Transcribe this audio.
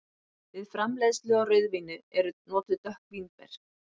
Við framleiðslu á rauðvíni eru notuð dökk vínber.